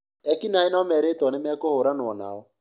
Ekinaĩ nomerĩtwo nĩmekũhũranwo nao